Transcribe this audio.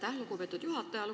Aitäh, lugupeetud juhataja!